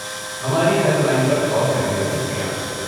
ہماری helpline پر call کرنے کا شکریہ۔